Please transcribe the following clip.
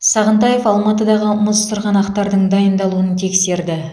сағынтаев алматыдағы мұз сырғанақтардың дайындалуын тексерді